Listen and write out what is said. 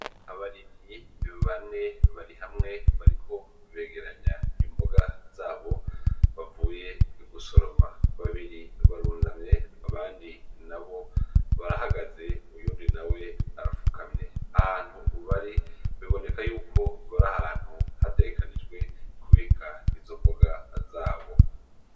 Abarimyi bane bagiye hamwe barikumw begeranya imboga zabo bavuye gusoroma , babiri barunamye abandi abandi nabo barahagaze uwundi nawe arapfukamye . Aho hantu bari biboneka yuko ari ahantu hategekanijwe kubika izo mboga zabo.